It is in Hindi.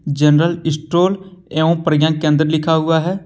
जनरल इस्टोर एवं प्रज्ञा केंद्र लिखा हुआ है।